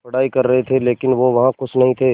पढ़ाई कर रहे थे लेकिन वो वहां ख़ुश नहीं थे